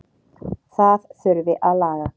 Það þurfi að laga.